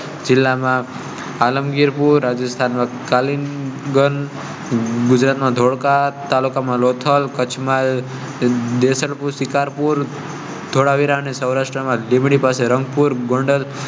જિલ્લામાં Alamgirpur, Rajasthan , Gujarat. થલ, કચ્છ મા . ને સૌરાષ્ટ્ર માં ધીમી પાસે રંગપુર ગોંડલ